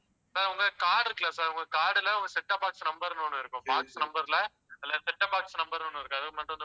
sir உங்க card இருக்குல்ல sir உங்க card ல ஒரு set-top box number ன்னு ஒண்ணு இருக்கும் box number ல அதில set-top box number ன்னு ஒண்ணு இருக்கும்